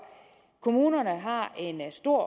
kommunerne har en stor